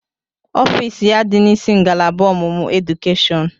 Ọfịs ya dị n'isi ngalaba ọmụmụ edukeshọn.